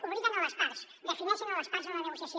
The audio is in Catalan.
obliguen les parts defineixen les parts en la negociació